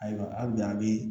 Ayiwa hali bi a bi